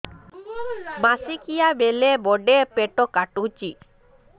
ମାସିକିଆ ବେଳେ ବଡେ ପେଟ କାଟୁଚି